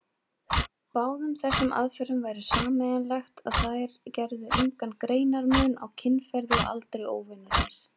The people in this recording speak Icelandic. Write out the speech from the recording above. Báðum þessum aðferðum væri sameiginlegt, að þær gerðu engan greinarmun á kynferði og aldri óvinarins.